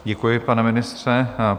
Děkuji, pane ministře.